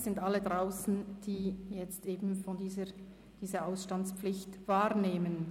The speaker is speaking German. Es sind alle draussen, die jetzt diese Ausstandspflicht wahrnehmen.